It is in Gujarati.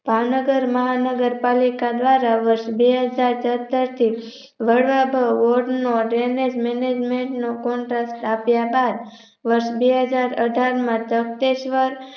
ભાવનગર મહાનગર પાલિકા દ્વારા બી વર્ષ બેહજાર તોતેર થી Drainage Management નો Contract આપ્યા બાદ વર્ષ બેહજારઅઠાર માંતકતેશ્વર